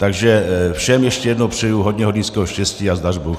Takže všem ještě jednou přeji hodně hornického štěstí a zdař Bůh.